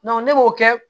ne b'o kɛ